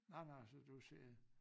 Nå nå så du ser